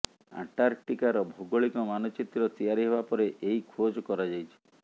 ଆଣ୍ଟାର୍କଟିକାର ଭୌଗୋଳିକ ମାନଚିତ୍ର ତିଆରି ହେବା ପରେ ଏହି ଖୋଜ୍ କରାଯାଇଛି